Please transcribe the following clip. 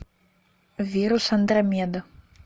вирус андромеда